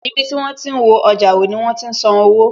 Ibi tí wón ó ti wo ọjà wò, ni wọn ó ti san owó